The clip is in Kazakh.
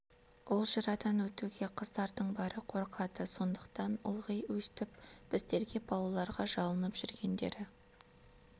ол жырадан жалғыз өтуге қыздардың бәрі қорқады сондықтан ылғи өстіп біздерге балаларға жалынып жүргендері